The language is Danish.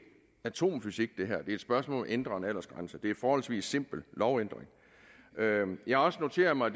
atomfysik det er et spørgsmål ændre en aldersgrænse det er en forholdsvis simpel lovændring jeg har også noteret mig